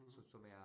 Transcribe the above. Mh